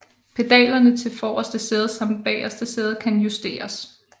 Pedalerne til forreste sæde samt bageste sæde kan justeres